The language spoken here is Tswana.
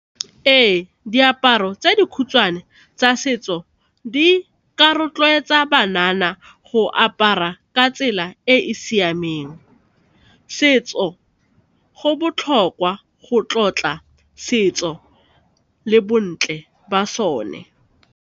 Ee, diaparo tse dikhutshwane tsa setso di ka rotloetsa banana go apara ka tsela e e siameng, setso go botlhokwa go tlotla setso le bontle ba sone.